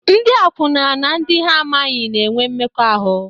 Ndị akwụna na ndị ha amaghị na-enwe mmekọahụ.